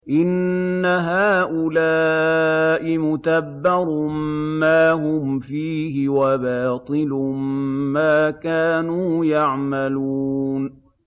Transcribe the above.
إِنَّ هَٰؤُلَاءِ مُتَبَّرٌ مَّا هُمْ فِيهِ وَبَاطِلٌ مَّا كَانُوا يَعْمَلُونَ